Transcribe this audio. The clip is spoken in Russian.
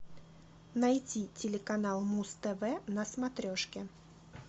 найти телеканал муз тв на смотрешке